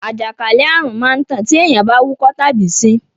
àjàkálẹ̀ àrùn má ń tàn tí èèyàn bá wúkọ́ tàbí ṣín.